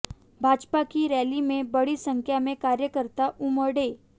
भाजपा की रैली में बड़ी संख्या में कार्यकर्ता उमड़े